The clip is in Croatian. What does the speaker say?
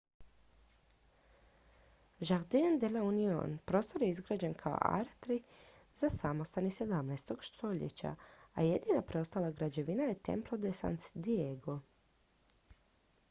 jardín de la unión. prostor je izgrađen kao atrij za samostan iz 17. stoljeća a jedina preostala građevina je templo de san diego